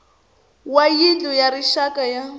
wa yindlu ya rixaka ya